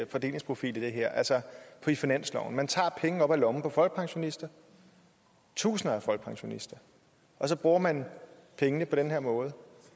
fordelingsprofil i det her altså i finansloven man tager penge op af lommen på folkepensionister tusinder af folkepensionister og så bruger man pengene på den her måde